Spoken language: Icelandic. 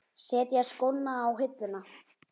Setja skóna á hilluna?